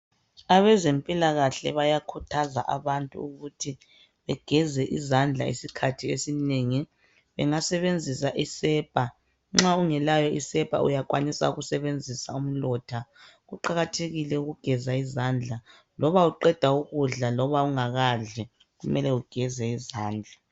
Abazempilakahle bayakhuthaza abantu ukuthi begeze bezandla isikhathi esinengi. Bengasebenzisa isepa. Nxa ungelayo sepa uyakwanisa ukusebenzisa umlotha. Kuqakathekile ukugeza izandla loba uqeda ukudla loba ungakadli kumele ugeze izandla.